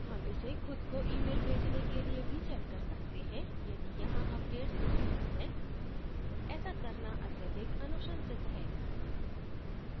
हम इसे खुद को email भेजने के लिए भी send कर सकते हैं यदि यहाँ updates उपबल्ध है ऐसा करना अत्यधिक अनुशंसित है